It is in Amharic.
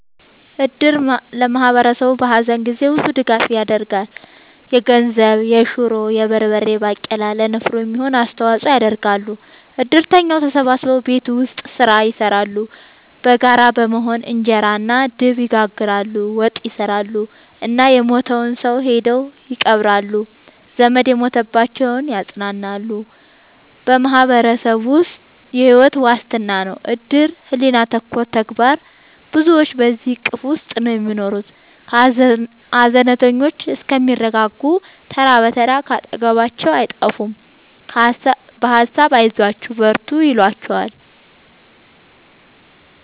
እድር ለማህበረሰቡ በሀዘን ጊዜ ብዙ ድጋፍ ይደረጋል። የገንዘብ፣ የሹሮ፣ የበርበሬ ባቄላ ለንፍሮ የሚሆን አስተዋጽኦ ያደርጋሉ። እድርተኛው ተሰብስቦ ቤት ውስጥ ስራ ይሰራሉ በጋራ በመሆን እንጀራ እና ድብ ይጋግራሉ፣ ወጥ ይሰራሉ እና የሞተውን ሰው ሄደው ይቀብራሉ። ዘመድ የሞተባቸውን ያፅናናሉ በማህበረሰቡ የሕይወት ዋስትና ነው እድር ሕሊና ተኮር ተግባር ብዙዎች በዚሕ እቅፍ ውስጥ ነው የሚኖሩት ሀዘነተኞቹ እስከሚረጋጉ ተራ ብትር ካጠገባቸው አይጠፍም በሀሳብ አይዟችሁ በርቱ ይሏቸዋል።